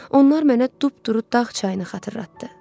Onlar mənə düpduru dağ çayını xatırlatdı.